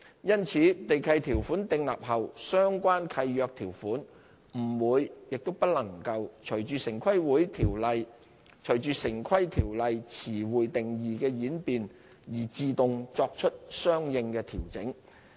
因此，地契條款訂立後相關契約條款不會、亦不能隨着城規條例詞彙定義的演變而自動作出相應的調整。